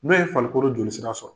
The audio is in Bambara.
N'a ye farikolokoro jolisira sɔrɔ